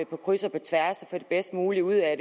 på kryds og tværs og få det bedst mulige ud af